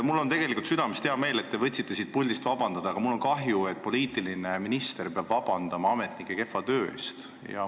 Mul on tegelikult südamest hea meel, et te võtsite siit puldist vabandust paluda, aga mul on kahju, et poliitiline minister peab ametnike kehva töö pärast vabandust paluma.